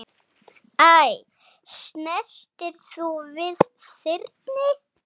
Æ, snertir þú við þyrni?